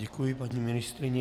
Děkuji paní ministryni.